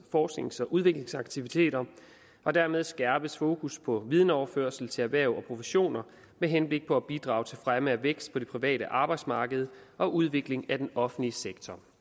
forsknings og udviklingsaktiviteter og dermed skærpes fokus på videnoverførsel til erhverv og professioner med henblik på at bidrage til fremme af vækst på det private arbejdsmarked og udvikling af den offentlige sektor